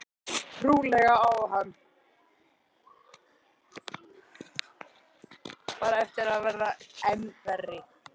Trúlega á hann bara eftir að verða enn verri.